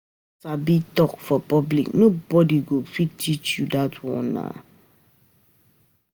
If u wan sabi talk for public, nobody go um fit teach you dat one nah.